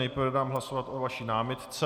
Nejprve dám hlasovat o vaší námitce.